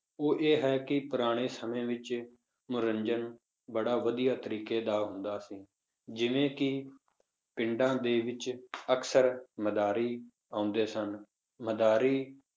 ਉਹ ਇਹ ਹੈ ਕਿ ਪੁਰਾਣੇ ਸਮੇਂ ਵਿੱਚ ਮਨੋਰੰਜਨ ਬੜਾ ਵਧੀਆ ਤਰੀਕੇ ਦਾ ਹੁੰਦਾ ਸੀ, ਜਿਵੇਂ ਕਿ ਪਿੰਡਾਂ ਦੇ ਵਿੱਚ ਅਕਸਰ ਮਦਾਰੀ ਆਉਂਦੇ ਸਨ, ਮਦਾਰੀ